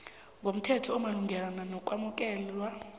ngomthetho omalungana nokwamukelwa